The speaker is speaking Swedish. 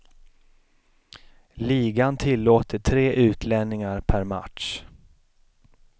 Ligan tillåter tre utlänningar per match.